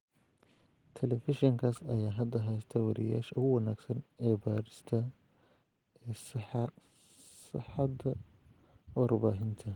Telefishinkaas ayaa hadda haysta wariyeyaasha ugu wanagsan ee baadhista ee saaxadda warbaahinta.